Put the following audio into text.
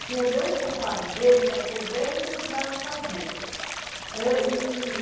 Tinha dois compadres dele, que eram pedreiros e que ajudavam a fazer.